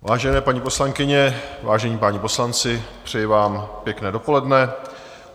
Vážené paní poslankyně, vážení páni poslanci, přeji vám pěkné dopoledne.